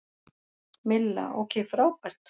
Milla: Ok frábært.